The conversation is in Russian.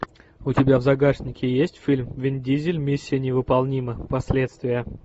у тебя в загашнике есть фильм вин дизель миссия невыполнима последствия